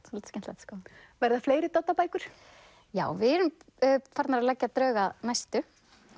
svolítið skemmtilegt sko verða fleiri Doddabækur já við erum farnar að leggja drög að næstu